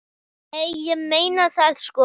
Nei, ég meina það sko.